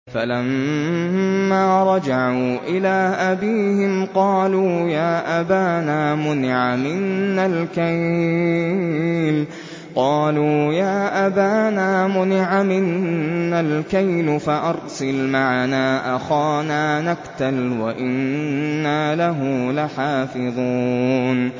فَلَمَّا رَجَعُوا إِلَىٰ أَبِيهِمْ قَالُوا يَا أَبَانَا مُنِعَ مِنَّا الْكَيْلُ فَأَرْسِلْ مَعَنَا أَخَانَا نَكْتَلْ وَإِنَّا لَهُ لَحَافِظُونَ